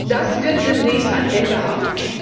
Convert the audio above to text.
Das wird demnächst ein Ende haben.